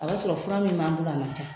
A b'a sɔrɔ fura min b'an bolo a man ca.